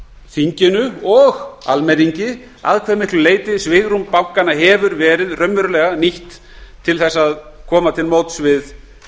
þinginu og almenningi að hve miklu leyti svigrúm bankanna hefur raunverulega verið nýtt til að koma til móts við